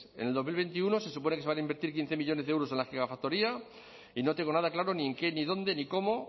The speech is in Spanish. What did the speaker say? en dos mil veintiuno se supone que se van a invertir quince millónes de euros en la gigafactoría y no tengo nada claro ni en qué ni dónde ni cómo